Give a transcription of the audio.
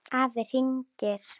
Afi hringir